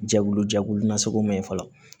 Jɛkulu jɛkulu nasugu ma ye fɔlɔ